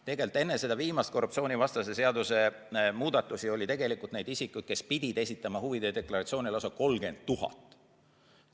Tegelikult enne viimast korruptsioonivastase seaduse muudatust oli neid isikuid, kes pidid esitama huvide deklaratsiooni, lausa 30 000.